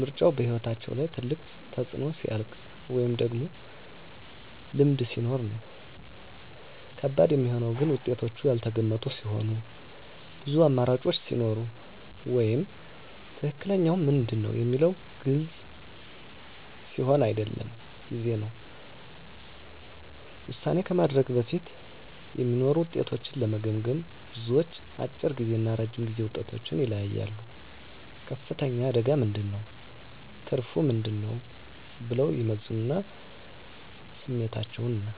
ምርጫው በሕይወት ላይ ትልቅ ተፅዕኖ ሲያልቅ ወይም ቀድሞ ልምድ ሲኖር ነው። ከባድ የሚሆነው ግን ውጤቶቹ ያልተገመቱ ሲሆኑ፣ ብዙ አማራጮች ሲኖሩ ወይም “ትክክለኛው ምንድን ነው?” የሚለው ግልጽ ሲሆን አይደለም ጊዜ ነው። ውሳኔ ከማድረግ በፊት የሚኖሩ ውጤቶችን ለመገመገም፣ ብዙዎች፦ አጭር ጊዜ እና ረጅም ጊዜ ውጤቶችን ይለያያሉ “ከፍተኛ አደጋ ምን ነው? ትርፉ ምን ነው?” ብለው ይመዝናሉ ስሜታቸውን እና